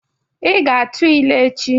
Ị ga-atụ ilu echi!